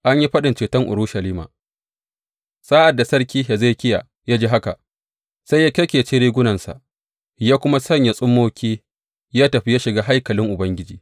An yi faɗin ceton Urushalima Sa’ad da Sarki Hezekiya ya ji haka, sai ya kyakkece rigunansa ya kuma sanya tsummoki ya tafi ya shiga haikalin Ubangiji.